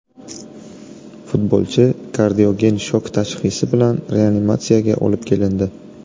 Futbolchi kardiogen shok tashxisi bilan reanimatsiyaga olib kelindi.